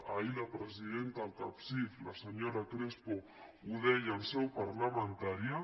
ahir la presidenta del capsif la senyora crespo ho deia en seu parlamentària